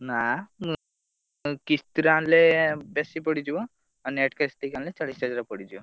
ନାଆ ଉଁ କିସ୍ତିରେ ଆଣିଲେ ବେଶୀ ପଡିଯିବ ଆଉ net cash ଦେଇ ଆଣିଲେ ଚାଲିଶହଜାରେ ପଡିଯିବ।